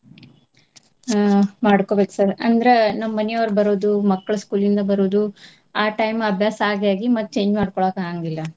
ಆ ಮಾಡ್ಕೊಬೇಕ್ sir . ಅಂದ್ರ ನಮ್ಮ ಮನಿಯವರ ಬರೋದು ಮಕ್ಳ school ಇಂದ ಬರೋದು ಆ time ಅಭ್ಯಾಸ ಆಗಿ ಆಗಿ ಮತ್ತ್ change ಮಾಡ್ಕೊಳಾಕ್ ಆಗಾಂಗಿಲ್ಲ.